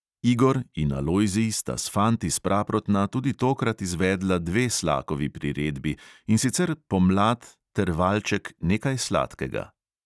Igor in alojzij sta s fanti s praprotna tudi tokrat izvedla dve slakovi priredbi, in sicer pomlad ter valček nekaj sladkega.